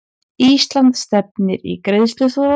Ísland stefnir í greiðsluþrot